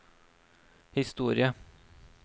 historie